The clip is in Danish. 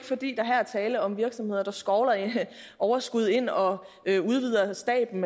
fordi der her er tale om virksomheder der skovler overskud ind og udvider staben